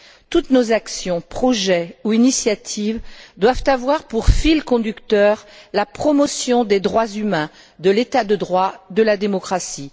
Toutes nos actions, projets ou initiatives doivent avoir pour fil conducteur la promotion des droits humains, de l'état de droit et de la démocratie.